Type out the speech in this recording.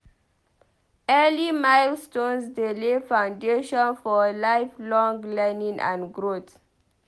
Early milestones dey lay foundation for lifelong learning and growth.